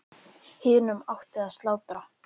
Hinum átti að slátra.